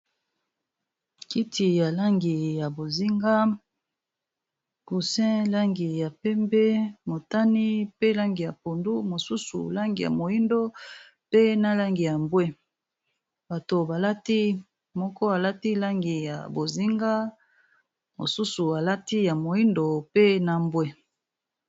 kiti ya langi ya bozinga gusin langi ya pembe motani pe langi ya pondu mosusu langi ya moindo pe na langi ya mbwe bato balati moko alati langi ya bozinga mosusu alati ya moindo pe na mbwe